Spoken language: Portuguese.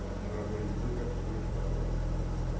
com moradores de rua e catadores de papel.